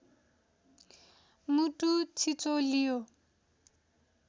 मुटु छिचोल्यो